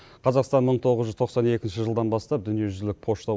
қазақстан мың тоғыз жүз тоқсан екінші жылдан бастап дүниежүзілік пошта